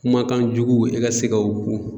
Kumakan jugu e ka se ka o ku